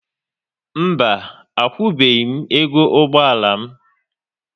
Mba, akwụbeghi m ego ụgbọala m